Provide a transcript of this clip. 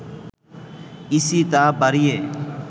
EC তা বাড়িয়ে